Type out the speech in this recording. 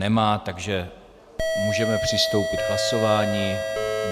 Nemá, takže můžeme přistoupit k hlasování.